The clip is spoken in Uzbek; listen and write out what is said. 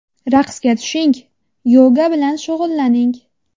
Raqsga tushing, yoga bilan shug‘ullaning.